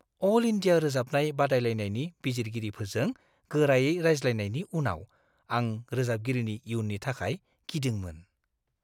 अल India रोजाबनाय बादायलायनायनि बिजिरगिरिफोरजों गोरायै रायज्लायनायनि उनाव आं रोजाबगिरिनि इयुननि थाखाय गिदोंमोन।